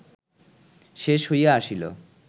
শেষ হইয়া আসিল